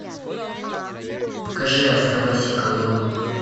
покажи оставайся голодным